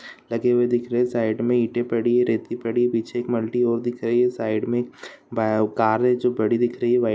लगे हुए दिख रहे हैं साइड में ईंटें पड़ी है रेत भी पड़ी है| पीछे एक मल्‍टी और दिख रही है साइड में एक बाय कार है जो बड़ी दिख रही है व्‍हा --